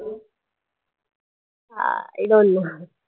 uh I don't know